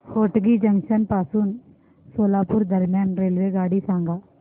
Hotgi junction पासून सोलापूर दरम्यान रेल्वेगाडी सांगा